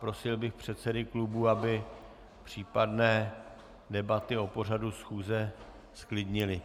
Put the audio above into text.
Prosil bych předsedy klubů, aby případné debaty o pořadu schůze zklidnili.